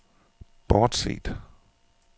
bortset